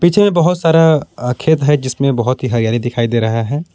पीछे में बहोत सारा खेत है जिसमें बहोत ही हरियाली दिखाई दे रहा है।